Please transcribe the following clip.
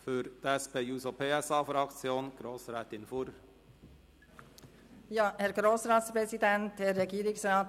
Für die SP-JUSO-PSA-Fraktion spricht nun Grossrätin Fuhrer.